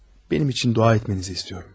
mənim üçün dua etməyinizi istəyirəm.